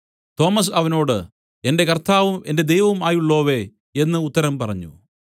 Thomas അവനോട് എന്റെ കർത്താവും എന്റെ ദൈവവും ആയുള്ളോവേ എന്നു ഉത്തരം പറഞ്ഞു